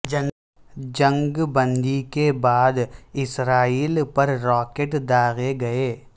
جنگ بندی کے بعد اسرائیل پر راکٹ داغے گئے